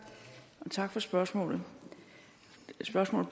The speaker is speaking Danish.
tak for det spørgsmålet